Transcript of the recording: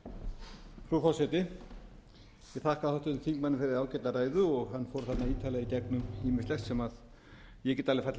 ég þakka háttvirtum þingmanni fyrir ágæta ræðu hann fór þarna ítarlega í gegnum ýmislegt sem ég get alveg fallist